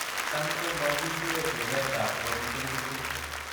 Tam komokindie tiretab chromosome tiptem.